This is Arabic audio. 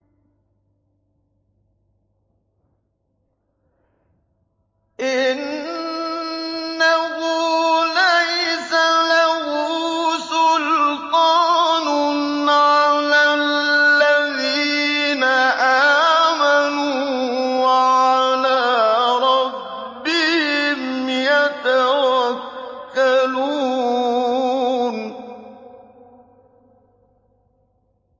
إِنَّهُ لَيْسَ لَهُ سُلْطَانٌ عَلَى الَّذِينَ آمَنُوا وَعَلَىٰ رَبِّهِمْ يَتَوَكَّلُونَ